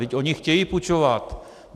Vždyť oni chtějí půjčovat!